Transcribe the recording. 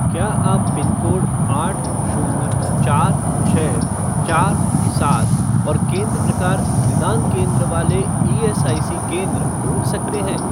क्या आप पिनकोड आठ शून्य चार छः चार सात और केंद्र प्रकार निदान केंद्र वाले ईएसआईसी केंद्र ढूँढ सकते हैं?